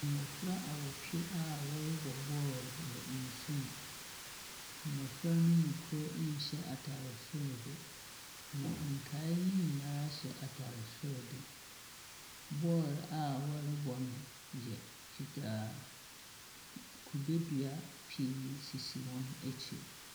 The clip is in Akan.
Mmɔfra awɔtwe a wɔrebɔ bɔɔlo wɔ nsum. Mmɔfra no mu kor nhyɛ atare soro de, na nkae no nyinaa hyɛ atare soro de. Ball a wɔrebɔ no yɛ fitaa. N kube dua pii sisi wɔn akyi.